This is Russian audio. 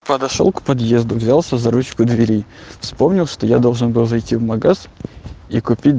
подошёл к подъезду взялся за ручку двери вспомнил что я должен был зайти в магаз и купить